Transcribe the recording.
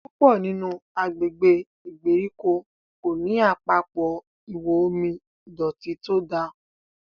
púpọ nínú agbègbè ìgbèríko ko ní Àpapọ̀ ihò omi ìdọ̀tító to dá.